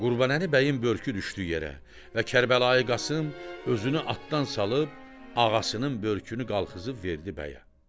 Qurbanəli bəyin börkü düşdü yerə və Kərbəlayı Qasım özünü atdan salıb ağasının börkünü qalxızıb verdi bəyə.